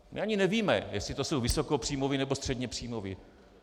My ani nevíme, jestli to jsou vysokopříjmoví, nebo středněpříjmoví.